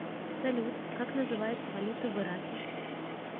салют как называется валюта в ираке